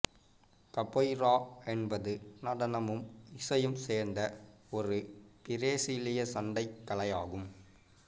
capoeira என்பது நடனமும் இசையும் சேர்ந்த ஒரு பிரேசிலிய சண்டைக் கலையாகும்